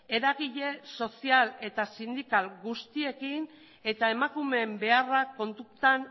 eragile sozial eta sindikal guztiekin eta emakumeen beharrak kontutan